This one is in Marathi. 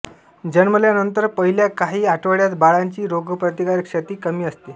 जन्मल्यानंतर पहिल्या काही आठवड्यात बाळाची रोगप्रतिकारक शक्ती कमी असते